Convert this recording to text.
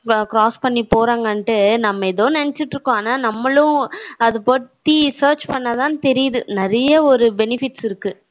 cross பண்ணி போறாங்கனுட்டு நம்ம ஏதோ நினைச்சுகிட்டு இருக்கோம் ஆனா நம்மளும் இத பத்தி search பண்ண தான் தெரியுது நிறைய ஒரு benefits இருக்கு